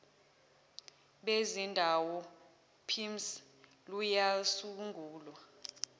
bezindawo pimss luyasungulwa